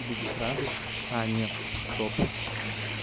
тебе здесь рады а нет стоп